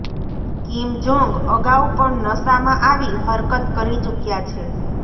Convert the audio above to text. Kim Jong અગાઉ પણ નશામાં આવી હરકત કરી ચૂક્યા છે